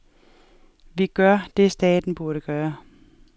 Vi gør det staten burde gøre.